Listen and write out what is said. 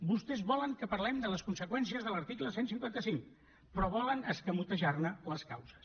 vostès volen que parlem de les conseqüències de l’article cent i cinquanta cinc però volen escamotejar ne les causes